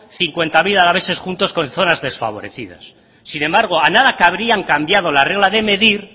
cincuenta mil alaveses juntos con zonas desfavorecidas sin embargo a nada que habrían cambiado la regla de medir